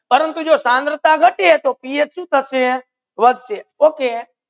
પરંતુ જો થનરતા ઘટાડીને પીએચ સુ થેસે વધસે okay